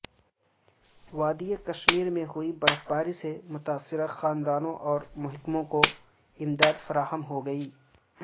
وادی کشمیر میں ہوئی برفباری سے متاثرہ خاندانوں اور محکموں کو امداد فراہم ہوگی